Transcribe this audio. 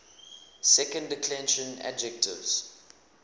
second declension adjectives